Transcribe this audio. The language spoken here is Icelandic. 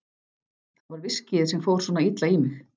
Það var viskíið sem fór svona illa í mig.